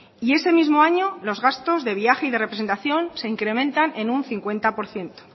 y ese mismo año los gastos de viaje y de representación se incrementan en un cincuenta por ciento